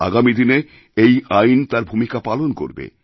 আগামী দিনে এই আইন তার ভূমিকা পালনকরবে